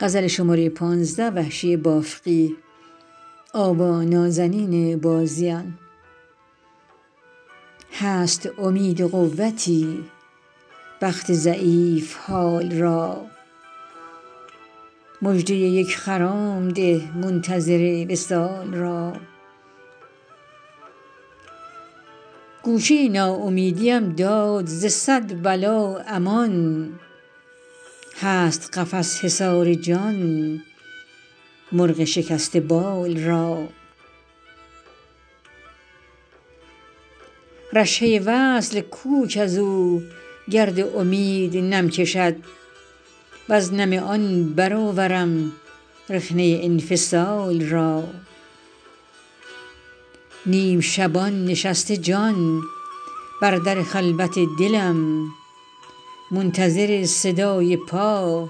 هست امید قوتی بخت ضعیف حال را مژده یک خرام ده منتظر وصال را گوشه ناامیدی ام داد ز صد بلا امان هست قفس حصار جان مرغ شکسته بال را رشحه وصل کو کز او گرد امید نم کشد وز نم آن برآورم رخنه انفصال را نیم شبان نشسته جان بر در خلوت دلم منتظر صدای پا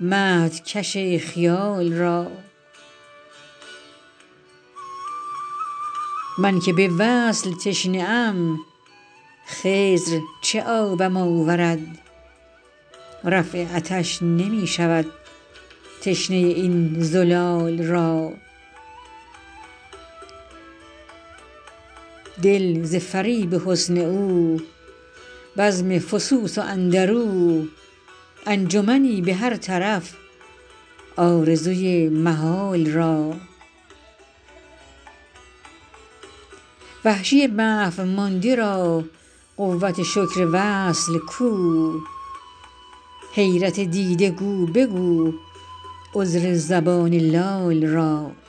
مهدکش خیال را من که به وصل تشنه ام خضر چه آبم آورد رفع عطش نمی شود تشنه این زلال را دل ز فریب حسن او بزم فسوس و اندر او انجمنی به هر طرف آرزوی محال را وحشی محو مانده را قوت شکر وصل کو حیرت دیده گو بگو عذر زبان لال را